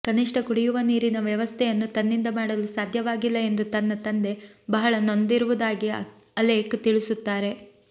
ಕನಿಷ್ಠ ಕುಡಿಯುವ ನೀರಿನ ವ್ಯವಸ್ಥೆಯನ್ನೂ ತನ್ನಿಂದ ಮಾಡಲು ಸಾಧ್ಯವಾಗಿಲ್ಲ ಎಂದು ತನ್ನ ತಂದೆ ಬಹಳ ನೊಂದಿರುವುದಾಗಿ ಅಲೇಖ್ ತಿಳಿಸುತ್ತಾರೆ